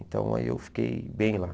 Então, aí eu fiquei bem lá.